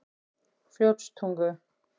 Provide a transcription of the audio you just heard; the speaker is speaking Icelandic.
Fljótstungu